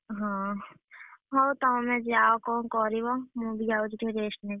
ହଁ ହଉ ତମେ ଯାଅ କଣ କରିବ? ମୁଁ ବି ଯାଉଛି ଟିକେ rest ନେବି।